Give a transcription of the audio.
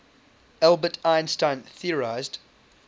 albert einstein theorized